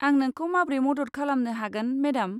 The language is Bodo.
आं नोंखौ माब्रै मदद खालामनो हागोन, मेदाम?